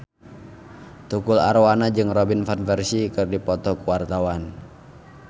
Tukul Arwana jeung Robin Van Persie keur dipoto ku wartawan